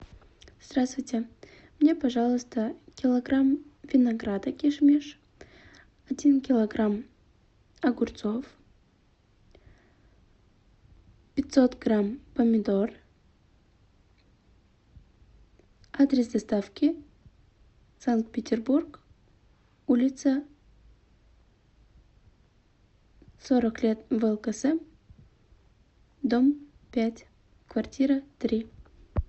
здравствуйте мне пожалуйста килограмм винограда киш миш один килограмм огурцов пятьсот грамм помидор адрес доставки санкт петербург улица сорок лет влксм дом пять квартира три